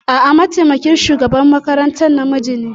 A'a, mataimakin shugaban makarantar namiji ne.